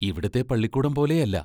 ഇവിടത്തെ പള്ളിക്കൂടം പോലെയല്ല.